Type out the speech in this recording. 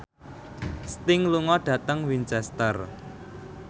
Sting lunga dhateng Winchester